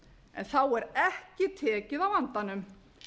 en þá er ekki tekið á vandanum